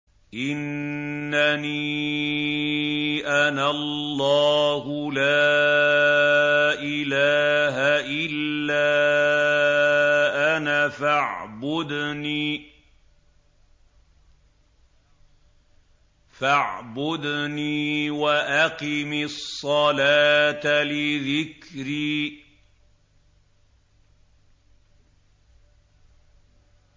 إِنَّنِي أَنَا اللَّهُ لَا إِلَٰهَ إِلَّا أَنَا فَاعْبُدْنِي وَأَقِمِ الصَّلَاةَ لِذِكْرِي